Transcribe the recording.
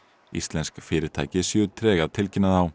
íslensk fyrirtæki séu treg að tilkynna þá